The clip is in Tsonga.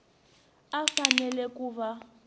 a a fanele ku va